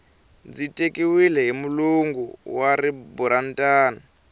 a ndzi tekiwile hi mulungu wa riburantani